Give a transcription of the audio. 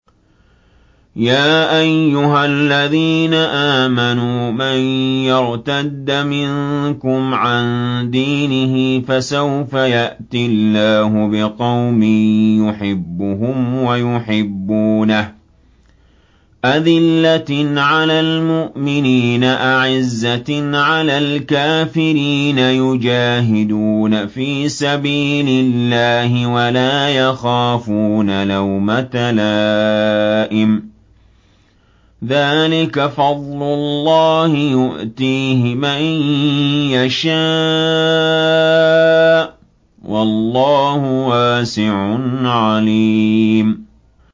يَا أَيُّهَا الَّذِينَ آمَنُوا مَن يَرْتَدَّ مِنكُمْ عَن دِينِهِ فَسَوْفَ يَأْتِي اللَّهُ بِقَوْمٍ يُحِبُّهُمْ وَيُحِبُّونَهُ أَذِلَّةٍ عَلَى الْمُؤْمِنِينَ أَعِزَّةٍ عَلَى الْكَافِرِينَ يُجَاهِدُونَ فِي سَبِيلِ اللَّهِ وَلَا يَخَافُونَ لَوْمَةَ لَائِمٍ ۚ ذَٰلِكَ فَضْلُ اللَّهِ يُؤْتِيهِ مَن يَشَاءُ ۚ وَاللَّهُ وَاسِعٌ عَلِيمٌ